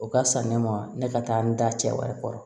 O ka fisa ne ma ne ka taa n da cɛ wari